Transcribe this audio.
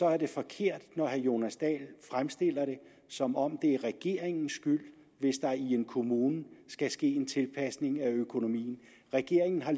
er det forkert når herre jonas dahl fremstiller det som om det er regeringens skyld hvis der i en kommune skal ske en tilpasning af økonomien regeringen har